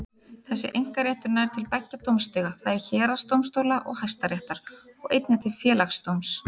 Þessi einkaréttur nær til beggja dómstiga, það er héraðsdómstóla og Hæstaréttar, og einnig til Félagsdóms.